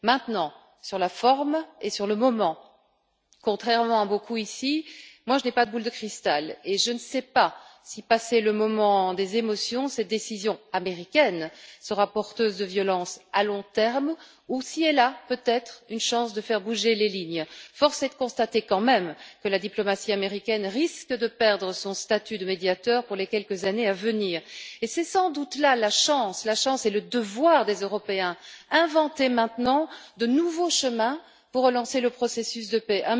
Maintenant, sur la forme et sur le moment, contrairement à beaucoup ici, je n'ai pas de boule de cristal et je ne sais pas si, passé le moment des émotions, cette décision américaine sera porteuse de violence à long terme ou si elle a peut être une chance de faire bouger les lignes. Force est de constater quand même que la diplomatie américaine risque de perdre son statut de médiateur pour les quelques années à venir, et c'est sans doute là la chance et le devoir des Européens inventer maintenant de nouveaux chemins pour relancer le processus de paix.